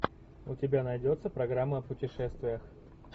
у тебя найдется программа о путешествиях